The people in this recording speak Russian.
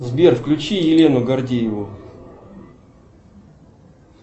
сбер включи елену гордееву